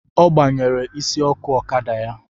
Ọ gbanyere isi ọkụ ọkada ya